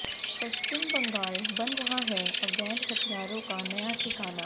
पश्चिम बंगाल बन रहा है अवैध हथियारों का नया ठिकाना